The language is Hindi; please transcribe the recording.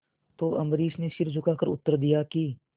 तो अम्बरीश ने सिर झुकाकर उत्तर दिया कि